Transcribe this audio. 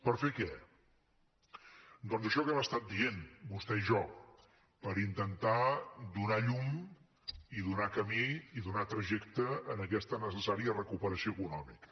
per fer què doncs això que hem estat dient vostè i jo per intentar donar llum i donar camí i donar trajecte a aquesta necessària recuperació econòmica